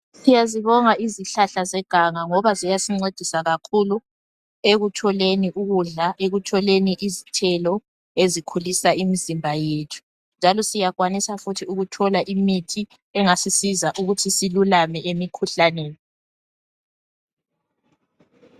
Siyazibonga izihlahla zeganga ngoba ziyasincedisa kakhulu ekutholeni ukudla, ekutholeni izithelo ezikhulisa imizimba yethu njalo siyakwanisa futhi ukuthola imithi engasisiza ukuthi silulame emikhuhlaneni.